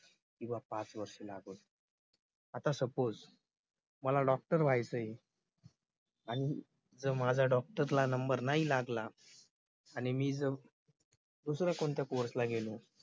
किंवा पाच वर्ष लागो आता suppose मला doctor व्हायचंय आणि जर माझा doctor ला नंबर नाही लागला आणि मी जर दुसऱ्या कोणत्या course ला गेलो